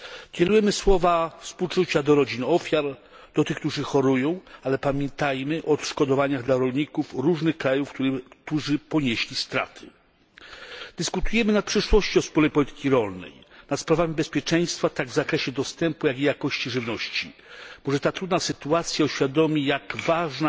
Kierujemy słowa współczucia do rodzin ofiar, do tych, którzy chorują, ale pamiętajmy o odszkodowaniach dla rolników z różnych krajów, którzy ponieśli straty. Dyskutujemy nad przyszłością wspólnej polityki rolnej, nad sprawami bezpieczeństwa w zakresie dostępu oraz jakości żywności. Może ta trudna sytuacja uświadomi, jak ważny